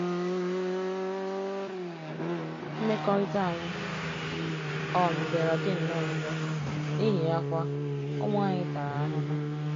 Mmekọrịta anyị um bịara dị nnọọ njọ, n'ihi ya kwa, ụmụ anyị tara ahụhụ.